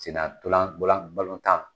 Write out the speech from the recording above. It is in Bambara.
Sena ntɔlan ntolan balon tan